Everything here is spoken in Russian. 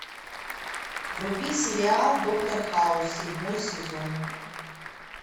вруби сериал доктор хаус седьмой сезон